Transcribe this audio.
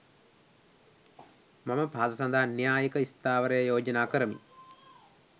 මම පහත සඳහන් න්‍යායික ස්ථාවරය යෝජනා කරමි